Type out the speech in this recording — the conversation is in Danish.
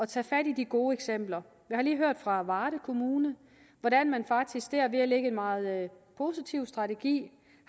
tage fat i de gode eksempler jeg har lige hørt fra varde kommune hvordan man faktisk ved at lægge en meget positiv strategi